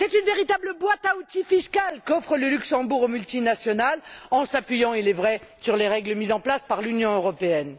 C'est une véritable boîte à outils fiscale qu'offre le Luxembourg aux multinationales en s'appuyant il est vrai sur les règles mises en place par l'Union européenne.